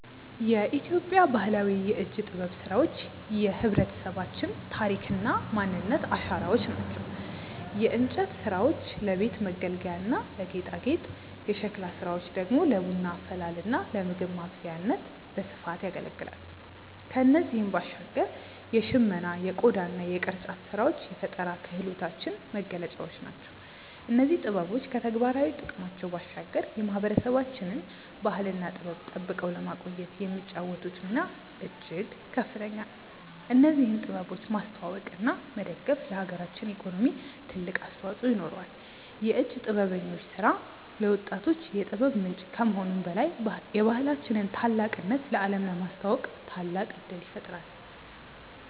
የኢትዮጵያ ባህላዊ የእጅ ጥበብ ስራዎች የህብረተሰባችን ታሪክና ማንነት አሻራዎች ናቸው። የእንጨት ስራዎች ለቤት መገልገያና ለጌጣጌጥ፣ የሸክላ ስራዎች ደግሞ ለቡና አፈላልና ለምግብ ማብሰያነት በስፋት ያገለግላሉ። ከእነዚህም ባሻገር የሽመና የቆዳና የቅርጫት ስራዎች የፈጠራ ክህሎታችን መገለጫዎች ናቸው። እነዚህ ጥበቦች ከተግባራዊ ጥቅማቸው ባሻገር የማህበረሰባችንን ባህልና ጥበብ ጠብቀው ለማቆየት የሚጫወቱት ሚና እጅግ ከፍተኛ ነው። እነዚህን ጥበቦች ማስተዋወቅና መደገፍ ለሀገራችን ኢኮኖሚ ትልቅ አስተዋጽኦ ይኖረዋል። የእጅ ጥበበኞች ስራ ለወጣቶች የጥበብ ምንጭ ከመሆኑም በላይ የባህላችንን ታላቅነት ለአለም ለማስተዋወቅ ታላቅ እድል ይፈጥራል።